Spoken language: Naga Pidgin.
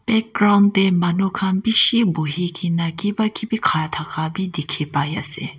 background teh manu khan bishi bohi ke na kiba kibi khara thaka bhi dikhi pai ase.